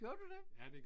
Gjorde du det?